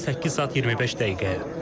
Özü də 8 saat 25 dəqiqəyə.